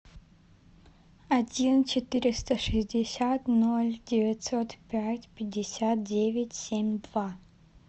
один четыреста шестьдесят ноль девятьсот пять пятьдесят девять семь два